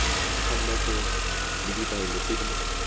gammogo le ditaelo tse di